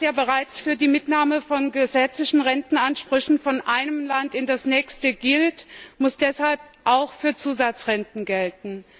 Und was ja bereits für die Mitnahme von gesetzlichen Rentenansprüchen von einem Land in das nächste gilt, muss deshalb auch für Zusatzrenten gelten.